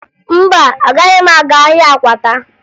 Mba, agaghị m aga ahịa Akwata